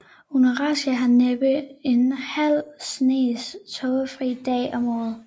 Unalashka har næppe en halv snes tågefri dage om året